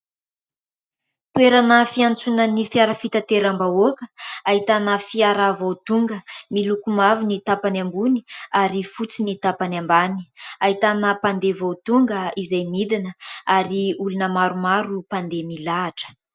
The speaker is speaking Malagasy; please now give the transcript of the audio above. Toerana fiantsoana ny fiara fitateram-bahoaka ahitana fiara vao tonga miloko mavo ny tampany ambony ary fotsy ny tampany ambany ahitana mpandeha vao tonga izay midina ary olona maromaro mpandeha milahatra.